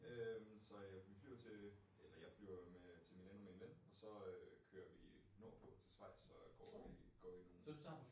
Øh så ja vi flyver til eller jeg flyver jo med til Milano med en ven og så øh kører vi nordpå til Schewiz og går i går i nogen